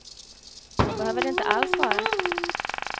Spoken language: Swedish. Så behöver det inte alls vara.